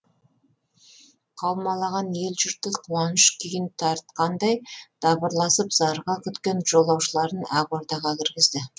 қаумалаған ел жұрты қуаныш күйін тартқандай дабырласып зарыға күткен жолаушыларын ақ ордаға кіргізді